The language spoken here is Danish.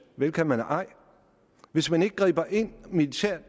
vel kan man ej hvis man ikke griber ind militært